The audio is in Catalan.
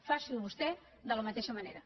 faci ho vostè de la mateixa manera